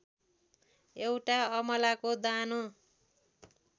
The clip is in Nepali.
एउटा अमलाको दानो